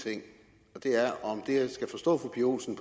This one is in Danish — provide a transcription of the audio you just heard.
ting og det er om jeg skal forstå fru pia olsen